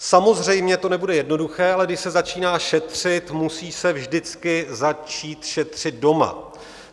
Samozřejmě to nebude jednoduché, ale když se začíná šetřit, musí se vždycky začít šetřit doma.